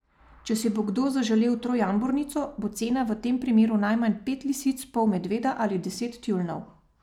Če si bo kdo zaželel trojambornico, bo cena v tem primeru najmanj pet lisic, pol medveda ali deset tjulnjev.